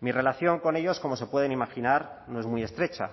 mi relación con ellos como se pueden imaginar no es muy estrecha